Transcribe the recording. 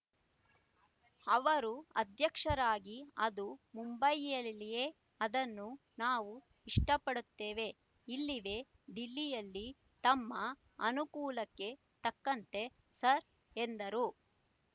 ಅವರು ಅಧ್ಯಕ್ಷರಿಗೆ ಅದು ಮುಂಬಯಿಯಲ್ಲಿ ಅದನ್ನು ನಾವು ಇಷ್ಟಪಡುತ್ತೇವೆ ಇಲ್ಲಿವೆ ದಿಲ್ಲಿಯಲ್ಲಿತಮ್ಮ ಅನುಕೂಲಕ್ಕೆ ತಕ್ಕಂತೆ ಸರ್ ಎಂದರು